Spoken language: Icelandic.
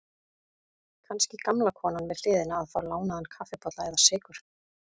Kannski gamla konan við hliðina að fá lánaðan kaffibolla eða sykur.